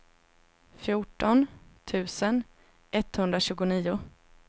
fjorton tusen etthundratjugonio